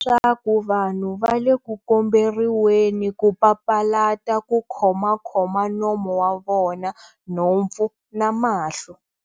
Leswaku vanhu va le ku komberiweni ku papalata ku khomakhoma nomo wa vona, nhompfu na mahlo.